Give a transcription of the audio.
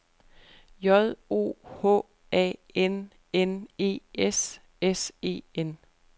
J O H A N N E S S E N